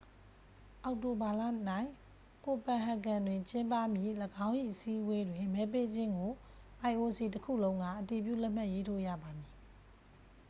အောက်တိုဘာလ၌ copenhagen တွင်ကျင်းပမည့်၎င်း၏အစည်းအဝေးတွင် မဲပေးခြင်းကို ioc တစ်ခုလုံးက အတည်ပြုလက်မှတ်ရေးထိုးရပါမည်